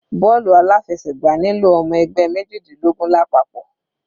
Bọ́ọ̀lù aláfẹsẹ̀gbá nílò ọmọ ẹgbẹ́ mejidinlogun lápapọ̀.